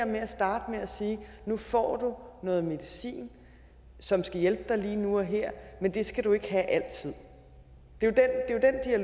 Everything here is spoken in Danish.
med at starte med at sige nu får du noget medicin som skal hjælpe der lige nu og her men det skal du ikke have altid det er